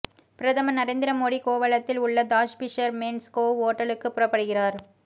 பிரதமர் நரேந்திர மோடி கோவளத்தில் உள்ள தாஜ் பிஷர்மேன்ஸ் கோவ் ஓட்டலுக்கு புறப்படுகிறார்